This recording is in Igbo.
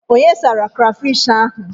Onye sara krafish ahụ?